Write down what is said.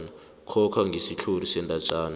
coca ngesitlhori sendatjana